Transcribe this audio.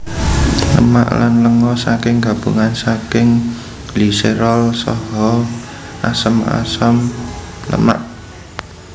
Lemak lan lenga saking gabungan saking gliserol saha asam asam lemak